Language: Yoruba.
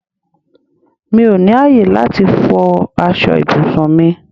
Mí ó ní ayé láti fò aṣọ ibùsùn mi